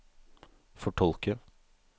fortolke